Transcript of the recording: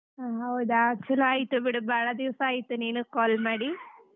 ಹಾ ಹೌದಾ, ಚುಲೋ ಆಯಿತು ಬಿಡು ಬಾಳ ದಿವಸಾ ಆಯಿತು ನೀನು call ಮಾಡಿ .